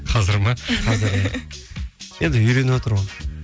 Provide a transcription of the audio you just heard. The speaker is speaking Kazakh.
қазір ме енді үйреніватыр ғой